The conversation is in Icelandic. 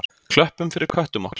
Klöppum fyrir köttum okkar!